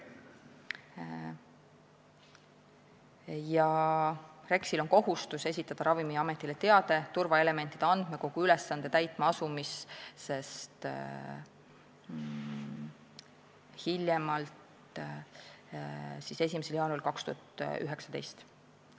REKS-il on kohustus esitada Ravimiametile teade turvaelementide andmekogu haldamise ülesande täitma asumise kohta hiljemalt 1. jaanuaril 2019.